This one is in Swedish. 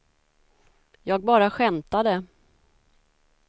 jag bara skämtade